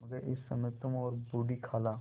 मगर इस समय तुम और बूढ़ी खाला